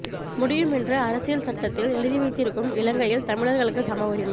முடியும் என்று அரசியல் சட்டத்தில் எழுதிவைத்திருக்கும் இலங்கையில் தமிழர்களுக்கு சம உரிமை